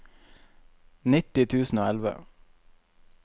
nitti tusen og elleve